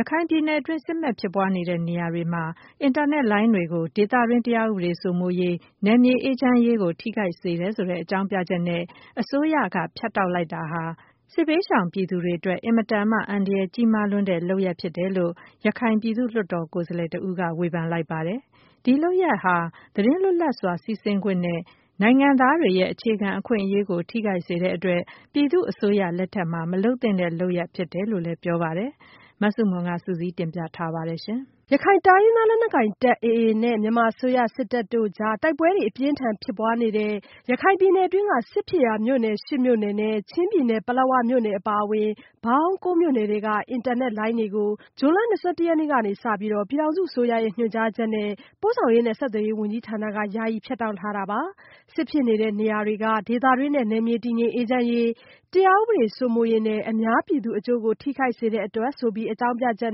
ရခိုင်ပြည်နယ်တွင်း စစ်မက်ဖြစ်ပွားနေတဲ့နေရာတွေမှာ အင်တာနက်လိုင်းတွေကို ဒေသတွင်း တရားဥပဒေစိုးမိုးရေး နယ်မြေအေးချမ်းရေးကို ထိခိုက်စေတယ်ဆိုတဲ့ အကြောင်းပြချက်နဲ့ အစိုးရအနေနဲ့ ဖြတ်တောက်လိုက်တာဟာ စစ်ဘေးရှောင်ပြည်သူတွေအတွက် အင်မတန်မှ အန္တရာယ်ကြီးမားလွန်းတဲ့ လုပ်ရပ်ဖြစ်တယ်လို့ ရခိုင် ပြည်သူ့လွှတ်တော် ကိုယ်စားလှယ်တဦးက ဝေဖန်ပြောဆိုလိုက်ပါတယ်။ ဒီလုပ်ရပ်ဟာ သတင်းလွတ်လပ်စွာစီးဆင်းခွင့်နဲ့ နိုင်ငံသားတွေရဲ့အခြေခံ အခွင့်အရေးကို ထိခိုက်စေတဲ့အတွက် ပြည်သူ့အစိုးရ လက်ထက်မှာ မလုပ်သင့်တဲ့ လုပ်ရပ်ဖြစ်တယ်လို့လည်း ပြောပါတယ်။ မဆုမွန် စုစည်းတင်ပြထားပါတယ်။ ရခိုင်တိုင်းရင်းသား လက်နက်ကိုင်တပ် AA နဲ့ မြန်မာအစိုးရစစ်တပ်တို့ကြား တိုက်ပွဲတွေအပြင်းအထန်ဖြစ်ပွားနေတဲ့ ရခိုင်ပြည်နယ်တွင်းက စစ်ဖြစ်ရာမြို့နယ် ၈မြို့နယ်နဲ့ ချင်းပြည်နယ်က ပလက်ဝမြို့နယ်အပါအဝင် ပေါင်း မြို့နယ်တွင်းက အင်တာနက်လိုင်းတွေကို ဇွန်လ ၂၁ ရက်နေ့က စပြီး ပြည်ထောင်စုအစိုးရရဲ့ ညွှန်ကြားချက်နဲ့ ပို့ဆောင်ရေးနဲ့ ဆက်သွယ်ရေး ဝန်ကြီးဌာနက ယာယီ ဖြတ်တောက်ထားတာပါ။ စစ်ဖြစ်နေတဲ့နေရာတွေက ဒေသတွင်းနဲ့ နယ်မြေတည်ငြိမ်အေးချမ်းရေး၊ တရားဥပဒေ စိုးမိုးရေးနဲ့ အများပြည်သူအကျိုးကို ထိခိုက်စေတဲ့ အတွက် ဆိုတဲ့ အကြောင်းပြချက်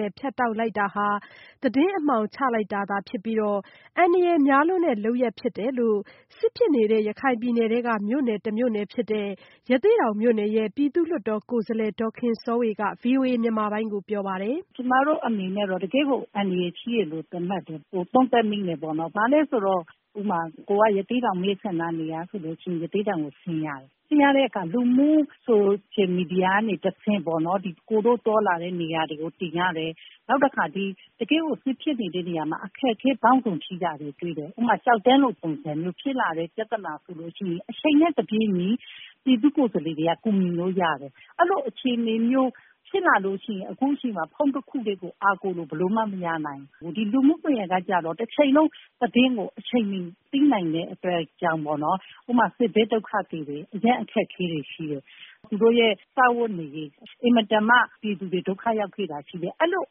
နဲ့ ဖြတ်တောက်လိုက်တာဟာ သတင်း-အမှောင်ချလိုက်တာဖြစ်ပြီး အန္တရာယ်များလွန်းတဲ့ လုပ်ရပ်ဖြစ်တယ်လို့ အင်တာနက် ဖြတ်တောက်ခံလိုက်ရတဲ့ ရခိုင်ပြည်နယ် ထဲက မြို့နယ် တမြို့နယ်ဖြစ်တဲ့ ရသေ့တောင်မြို့နယ် ပြည်သူ့လွှတ်တော်ကိုယ်စားလှယ် ဒေါ်ခင်စောဝေ က ဗွီအိုအေမြန်မာပိုင်း ကိုပြောပါတယ်။ “ကျမတို့အနေနဲ့ကတော့ တကယ့်ကို အန္တရာယ်ရှိတယ်လို့ သုံးသပ်မိတယ်။ ဘာကြောင့်လဲဆိုတော့ ကိုယ်က ရသေ့တောင်မဲဆန္ဒနယ်က ဖြစ်တော့ ရသေ့တောင်ကိုဆင်းရတယ်။ ဆင်းရတော့ လူမှုဆိုရှယ်မီဒီယာကနေတဆင့် ကိုယ်တို့သွားလာတဲ့နေရာကို တင်ရတယ်။ နောက်တခါ တကယ့်ကို စစ်ဖြစ်နေတဲ့ နေရာမှာ အခက်အခဲပေါင်းစုံရှိကြတာကို တွေ့တယ်။ ဥပမာ-ကျောက်တန်းလို ပုံစံမျိုးဖြစ်လာတဲ့ ပြဿနာဆိုရင်အချိန်နဲ့ တပြေးညီ ပြည်သူ့ကိုယ်စားလှယ်တွေက ကူညီလို့ရတယ်။ အဲလိုအခြေအနေမျိုးဖြစ်လာလို့ရှိရင် ဖုန်းတခုတည်းကို အားကိုးလို့ ဘယ်လိုမှ မရနိုင်ဘူး။ ဒီလူမှုကွန်ယက်ကတော့ တချိန်လုံး သတင်းကို အချိန်မီ သိနိုင်တဲ့အတွက်ကြောင့်ပေါ့နော် ဥပမာ စစ်ဘေးဒုက္ခသည်တွေ အရမ်းအခက်အခဲတွေရှိတယ်။ သူတို့စားဝတ်နေရေး အင်မတန်မှ ပြည်သူတွေ ဒုက္ခရောက်ခဲ့တာရှိတယ်။ အဲလို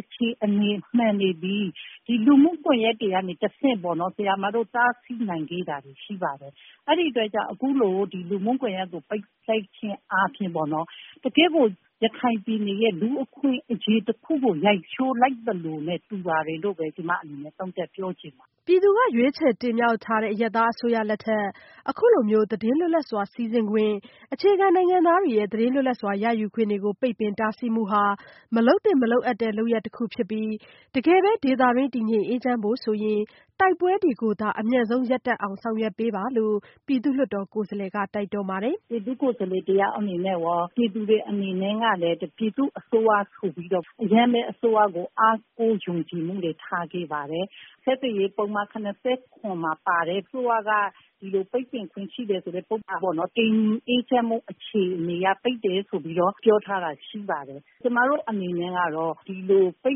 အခြေအနေမှန်တွေသည် ဒီလူမှုကွန်ယက်ကနေတဆင့်ပေါ့နော် ဆရာ၊ ဆရာမတို့ စသိခဲ့တာတွေရှိပါတယ်။ အဲဒီအတွက်ကြောင့် အခုလို ဒီလူမှုကွန်ယက်ကို ပိတ်လိုက်တာက တကယ့်ကို ရခိုင်ပြည်နယ်ရဲ့ လူ့အခွင့်အရေးတခုကို ရိုက်ချိုးလိုက်သလိုနဲ့ တူပါတယ်လို့ ကျမအနေနဲ့ သုံးသပ်ပြောချင်ပါတယ်။” ပြည်သူက ရွေးချယ်တင်မြှောက်ထားတဲ့ အရပ်သားအစိုးရလက်ထက် အခုလိုသတင်းလွတ်လပ်စွာစီးဆင်းခွင့်နဲ့ အခြေခံနိုင်ငံသားတွေ ရဲ့ သတင်းလွတ်လပ်စွာ ရယူခွင့်တွေကို ပိတ်ပင်တားဆီးမှုဟာ မလုပ်သင့် မလုပ်အပ်တဲ့ လုပ်ရပ်တခုဖြစ်ပြီး တကယ်ပဲ ဒေသတွင်း တည်ငြိမ်အေးချမ်း ဖို့ဆိုရင် တိုက်ပွဲတွေကိုသာ အမြန်ဆုံးရပ်တန့်အောင် ဆောင်ရွက်ပါ လို့လည်း ပြည်သူ့လွှတ်တော်ကိုယ်စားလှယ် ဒေါ်ခင်စောဝေက တိုက်တွန်းပါတယ်။ “ပြည်သူ့ကိုယ်စားလှယ်တယောက်အနေနဲ့ရော ပြည်သူတွေအနေနဲ့ကလည်း ပြည်သူ့အစိုးရကို ပိုပြီးတော့ အရမ်းပဲ အားကိုးယုံကြည်မှုတွေထားခဲ့တယ်။ ဆက်သွယ်ရေးပုဒ်မ ၇၇ မှာပါတယ် အစိုးရက ဒီလိုပိတ်ပင်ခွင့်ရှိတယ်ဆိုတဲ့ ပုဒ်မပေါ့နော် ပြည်သူတွေ တည်ငြိမ်အေးချမ်းဖို့အခြေအနေအရ ပိတ်တယ်လို့ ပြောထားတာရှိပါတယ်။ ကျမတို့အနေနဲ့ကတော့ ဒီလိုပိ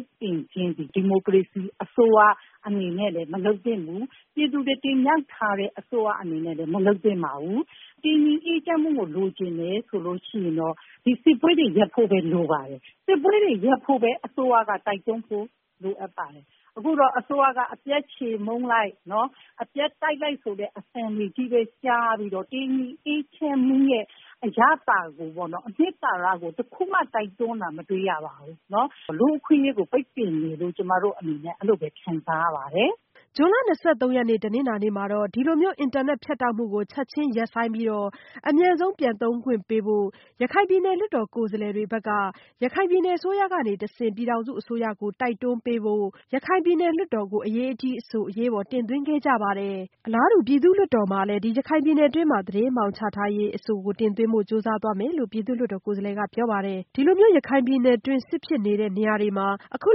တ်ပင်ချင်းသည် ဒီမိုကရေစီ အစိုးရအနေနဲ့လည်း မလုပ်သင့်ဘူး ပြည်သူတွေ တင်မြှောက်ထားတဲ့ အစိုးရအနေနဲ့လည်း မလုပ်သင့်ပါဘူး။ တည်ငြိမ်အေးချမ်းဖို့ကိုလိုချင်တယ်ဆိုရင် စစ်ပွဲကို ရပ်ဖို့လိုပါတယ်။ စစ်ပွဲတွေရပ်ဖို့ အစိုးရက တိုက်တွန်းဖို့လိုပါတယ် အခုကတော့ အစိုးရကအပြတ် ချေမှုန်းလိုက် ၊ အပြတ်တိုက်လိုက်ဆိုတဲ့ အသံတွေပဲ ကြားပြီးတော့ တည်ငြိမ်အေးချမ်းမှုအရသာကိုပေါ့နော် ၊ အနှစ်သာရကို တခုမှ တိုက်တွန်းတာ မတွေ့ရဘူး ။ လူ့အခွင့်အရေးကို ပိတ်ပင်တယ်လို့ ကျမတို့ အဲလိုပဲ ခံစားရပါတယ်။” ဇွန်လ ၂၃ရက်နေ့ တနင်္လာမှာတော့ ဒီလိုအင်တာနက်ဖြတ်တောက်မှုကို ချက်ခြင်း ရပ်ဆိုင်းပြီး အမြန်ဆုံး ပြန်သုံးခွင့်ပေးဖို့ ရခိုင်ပြည်နယ်လွှတ်တော် ကိုယ်စားလှယ်တွေဘက်ကနေ ရခိုင်ပြည်နယ်အစိုးရကတဆင့် ပြည်ထောင်စုအစိုးရကို တိုက်တွန်းပေးဖို့ ရခိုင်ပြည်နယ်လွှတ်တော်ကို အရေးတကြီးအဆိုကို အရေးပေါ်တင်သွင်းခဲ့ကြပါတယ်။ အလားတူ ပြည်သူ့လွှတ်တော်မှာလည်း ဒီလို ရခိုင်ပြည်နယ်တွင်း သတင်းအမှောင်ချ ထားတဲ့အရေး အဆိုတင်သွင်းဖို့ကြိုးစားသွားမယ်လို့ ပြည်သူ့လွှတ်တော် ကိုယ်စားလှယ် ကပြောပါတယ်။ အခုလိုမျိုး ရခိုင်ပြည်နုယ်တွင်း စစ်ဖြစ်နေတဲ့နေရာတွေမှာ အခု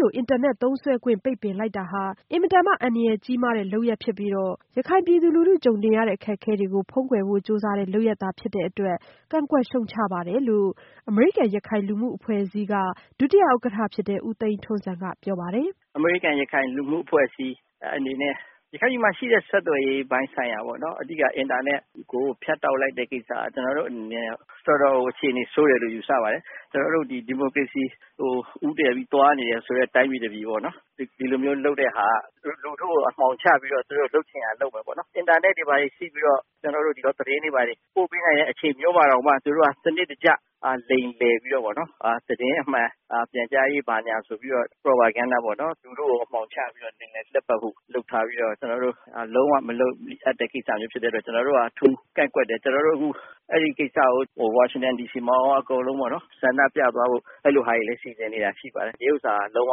လို အင်တာနက်သုံးစွဲခွင့် ပိတ်ပင်လိုက်တာဟာ အင်မတန်မှ အန္တရာယ်ကြီးမားတဲ့လုပ်ရပ်ဖြစ်ပြီးတော့ ရခိုင်ပြည်သူလူထုကြုံနေရတဲ့ အခက်အခဲတွေကို ဖုန်းကွယ်ဖို့ ကြိုးစားတဲ့လုပ်ရပ်သာ ဖြစ်တဲ့အတွက် ကန့်ကွက်ရှုတ်ချပါတယ်လို့ အမေရိကန်ရခိုင်လူမှုအဖွဲ့အစည်းရဲ့ ဒုတိယဥက္ကဋ္ဌ ဦးသိန်းထွန်းဇံ ကပြောပါတယ်။ “အမေရိကန်ရခိုင်လူမှုအဖွဲ့အစည်းအနေနဲ့ ရခိုင်ပြည်နယ်မှာ ရှိတဲ့ ဆက်သွယ်ရေးပိုင်းဆိုင်ရာပေါ့နော် အဓိက အင်တာနက်ကို ဖြတ်တောက်လိုက်တာ ကျနော်တို့အနေနဲ့ကတော့ တော်တော်ကို အခြေအနေဆိုးတယ်လို့ ယူဆပါတယ်။ ကျနော်တို့ ဒီမိုကရေစီကို ဦးတည်ပြီးသွားနေတဲ့ တိုင်းပြည်မှာ ဒီလိုလုပ်တာက လူထုကို အမှောင်ချပြီးတော့ သူတို့ လုပ်ချင်ရာလုပ်မယ်ပေါ့နော်။ အင်တာနက်တွေဘာတွေရှိပြီးတော့ သတင်းတွေဘာတွေ ပို့ပေးနေတဲ့အချိန်မှာ သူတို့က စနစ်တကျ လိမ်လည်ပြီးတော့ သတင်းအမှန်ပြန်ကြားရေး ဘာညာဆိုပြီးတော့ propaganda ပေါ့ လူထုကို အမှောင်ချပြီးတော့ လိမ်လည်သွားဖို့ ဆက်လုပ်ထားပြီးတော့ ကျနော်တို့ လုံး၀ မလိုအပ်တဲ့ ကိစ္စမျိုးဖြစ်တဲ့အတွက် ကျနော်တို့က ကန့်ကွက်တယ် ။ အခုအဲဒီကိစ္စကို Washington DC မှာရော အကုန်လုံး ဆန္ဒပြသွားဖို့ ရှိပါတယ်။ ဒါက လုံးဝ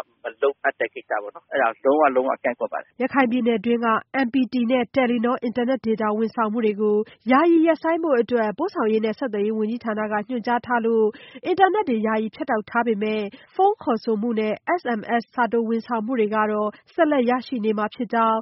လုပ်အပ်တဲ့ကိစ္စပေါေ့နာ် အဲဒါ လုံးဝလုံး၀ ကန့်ကွက်ပါတယ်။” ရခိုင်ပြည်နယ်တွင်းက MPT နဲ့ Telenor အင်တာနက်ဒေတာ ဝန်ဆောင်မှုတွေကို ယာယီရပ်ဆိုင်းဖို့ ပို့ဆောင်ရေးနဲ့ ဆက်သွယ်ရေး ဝန်ကြီးဌာနက ညွှန်ကြားထားခဲ့တဲ့အတွက် အင်တာနက်ယာယီဖြတ်တောက်ထားပြီး ဖုန်းခေါ်ဆိုမှုနဲ့ SMS စာတိုဝန်ဆောင်မှုတွေကတော့ ဆက်လက် ရရှိနေမှာဖြစ်ကြောင်း